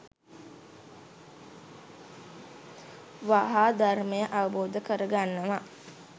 වහා ධර්මය අවබෝධ කරගන්නවා.